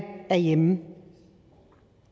er hjemme